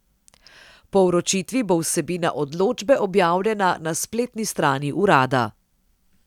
Po vročitvi bo vsebina odločbe objavljena na spletni strani urada.